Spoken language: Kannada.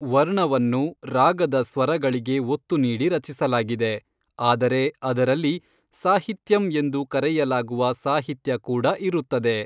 ವರ್ಣವನ್ನು ರಾಗದ ಸ್ವರಗಳಿಗೆ ಒತ್ತು ನೀಡಿ ರಚಿಸಲಾಗಿದೆ, ಆದರೆ ಅದರಲ್ಲಿ ಸಾಹಿತ್ಯಂ ಎಂದು ಕರೆಯಲಾಗುವ ಸಾಹಿತ್ಯ ಕೂಡ ಇರುತ್ತದೆ.